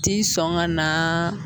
Ti sɔn ka na